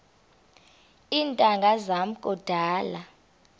iintanga zam kudala